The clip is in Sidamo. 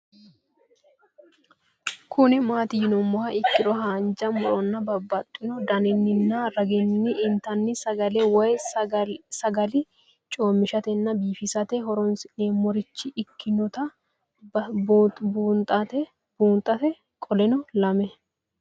Kuni mati yinumoha ikiro hanja muroni babaxino daninina ragini intani sagale woyi sagali comishatenna bifisate horonsine'morich ikinota bunxana qoleno lame